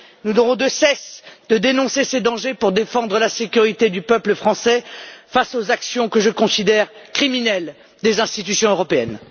Nous n'aurons de cesse de dénoncer ces dangers pour défendre la sécurité du peuple français face aux actions que je considère criminelles des institutions européennes.